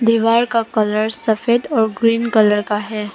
दीवार का कलर सफेद और ग्रीन कलर का है।